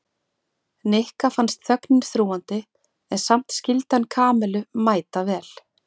Nikka fannst þögnin þrúgandi en samt skyldi hann Kamillu mæta vel.